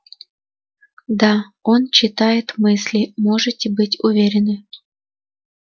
да он читает мысли можете быть уверены